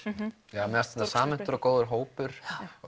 fannst þetta samhentur og góður hópur